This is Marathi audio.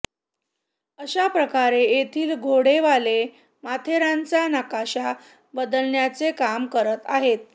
अशाप्रकारे येथील घोडेवाले माथेरानचा नकाशा बदलण्याचे काम करत आहेत